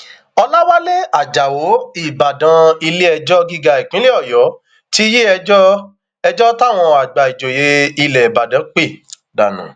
ọlàwálẹ ajáò ìbàdàn iléẹjọ gíga ìpínlẹ ọyọ ti yí ẹjọ ẹjọ táwọn àgbà ìjòyè ilẹ ìbàdàn pè dànù